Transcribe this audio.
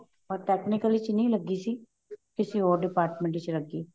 ਪਰ technical ਵਿੱਚ ਨਹੀਂ ਲੱਗੀ ਸੀ ਕਿਸੀ ਹੋਰ department ਵਿੱਚ ਲੱਗੀ